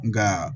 Nka